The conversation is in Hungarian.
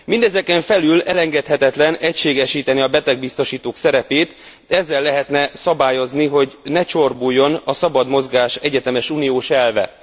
Mindezeken felül elengedhetetlen egységesíteni a betegbiztosítók szerepét, ezzel lehetne szabályozni, hogy ne csorbuljon a szabad mozgás egyetemes uniós elve.